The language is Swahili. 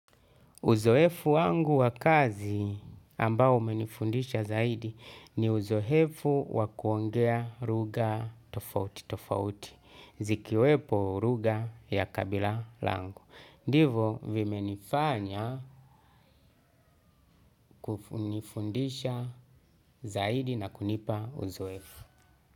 Uzoefu wangu wa kazi ambao umenifundisha zaidi ni uzoefu wa kuongea lugha tofauti tofauti, zikiwemo lugha ya kabila langu. Ndivo vimenifanya kunifundisha zaidi na kunipa uzoefu.